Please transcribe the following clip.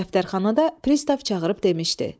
Dərxanada Pristav çağırıb demişdi: